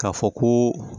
K'a fɔ ko